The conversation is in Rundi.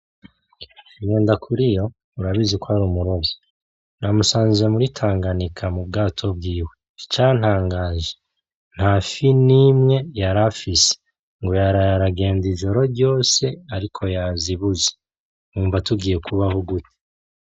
Ngendakuriyo urabizi ko ari umurovyi na musanze muri tanganyika mu bwato bwiwe icantangaje ntafi nimwe yarafise ngo yaraye aragenda ijoro ryose ariko yazibuze, wumva tugiye kubaho gute?